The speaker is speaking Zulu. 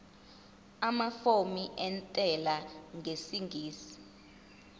amafomu entela yengeniso